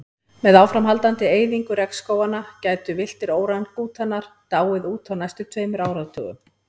Með áframhaldandi eyðingu regnskóganna gætu villtir órangútanar dáið út á næstu tveimur áratugum.